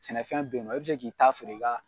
Sɛnɛfɛn bɛn yen nɔ, i bɛ se k'i ta feere i ka